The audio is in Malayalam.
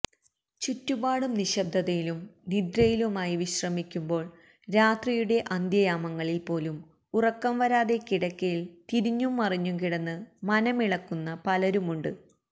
ചുറ്റുപാടും നിശബ്ദതയിലും നിദ്രയിലുമായി വിശ്രമിക്കുന്പോൾ രാത്രിയുടെ അന്ത്യയാമങ്ങളിൽ പോലും ഉറക്കം വരാതെ കിടക്കയിൽ തിരിഞ്ഞും മറിഞ്ഞുംകിടന്ന് മനമിളക്കുന്ന പലരുമുണ്ട്